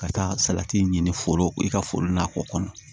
Ka taa salati ɲini foro i ka foro n'a ko kɔnɔ